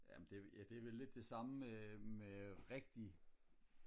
ja men det er vel ja det er vel lidt det samme med rigtig